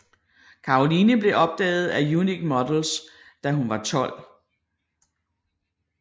Caroline blev opdaget af Unique Models da hun var 12